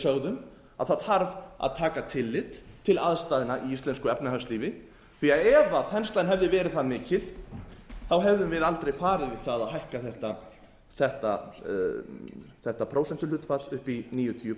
við sögðum það þarf að taka tillit til aðstæðna í íslensku efnahagslífi því að ef þenslan hefði verið það mikil hefðum við aldrei farið í það að hækka þetta prósentuhlutfall upp í níutíu